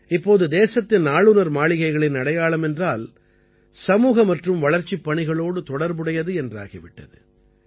இப்போது தேசத்தின் ஆளுநர் மாளிகைகளின் அடையாளம் என்றால் சமூக மற்றும் வளர்ச்சிப் பணிகளோடு தொடர்புடையது என்றாகிவிட்டது